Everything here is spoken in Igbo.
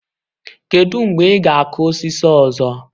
Kedu mgbe ị ga-akụ osisi ọzọ?